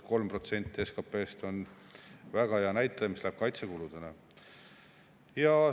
Kolm protsenti SKT-st kaitsekuludele on väga hea näitaja.